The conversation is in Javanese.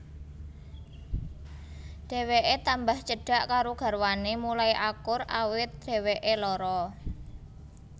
Dheweké tambah cedhak karo garwané mulai akur awit dheweké lara